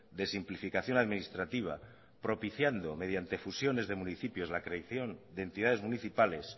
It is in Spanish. de simplificación administrativa propiciando mediante fusiones de municipios la creación de entidades municipales